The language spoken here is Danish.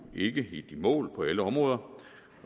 ikke helt i mål på alle områder